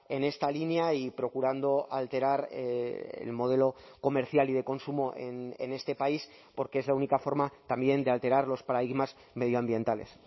en esta línea y procurando alterar el modelo comercial y de consumo en este país porque es la única forma también de alterar los paradigmas medioambientales